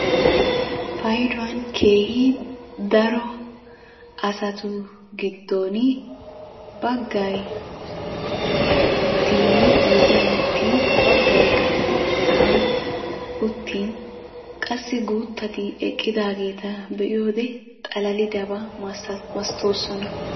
Paydduwan keehi dar asatu giddon baggay oydiya uttin baggay sa'an uttin qassi gutati eqqidageeta be'iyoode xalalidaba masatoosona.